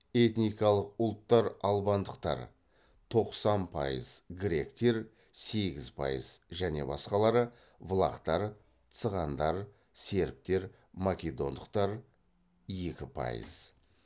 этникалық ұлттар албандықтар тоқсан пайыз гректер сегіз пайыз және басқалары влахтар цыгандар сербтер македондықтар екі пайыз